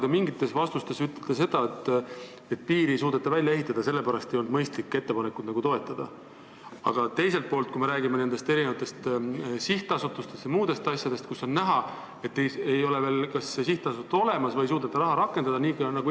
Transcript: Te mingites vastustes ütlesite, et piiri ei suudeta välja ehitada ja sellepärast ei olnud mõistlik ettepanekut toetada, aga teiselt poolt, kui jutt on sihtasutustest ja muudest ettevõtmistest, mille puhul ei ole teada, kas need ikka asutatakse ja kas neis suudetakse raha rakendada, raha eraldatakse.